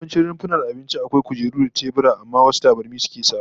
Yawancin rumfunan abinci akwai kujeru da tebura, amma wasu tabarmi suke sawa